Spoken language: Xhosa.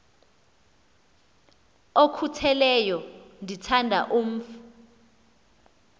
okhutheleyo ndithanda umf